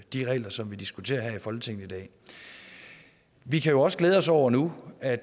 de regler som vi diskuterer her i folketinget i dag vi kan jo også glæde os over nu at